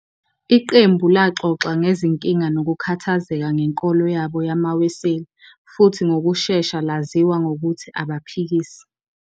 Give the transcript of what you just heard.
Iqembu laxoxa ngezinkinga nokukhathazeka ngenkolo yabo yamaWeseli, futhi ngokushesha laziwa ngokuthi "Abaphikisi."